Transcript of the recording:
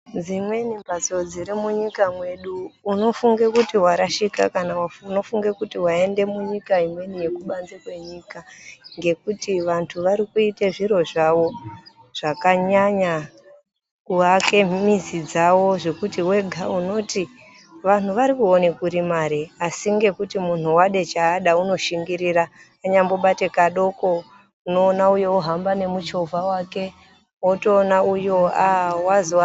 Dzimweni mbatso dziri munyika mwedu unofunga kuti warashika kana kuti waende munyika yekubanze kwenyika, ngekuti vantu ari kuite zviro zvawo zvakanyanya kuake mizi dzawo zvekuti wega unoti, vanhu vari kuone kuri mare? Asi ngekuti munhu wade chaada unoshingirira anyambobate kadoko unoona uyo wohamba nemuchovha wake wotoona uyo aah wazi wa...